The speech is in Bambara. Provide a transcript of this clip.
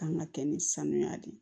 Kan ka kɛ ni sanuya de ye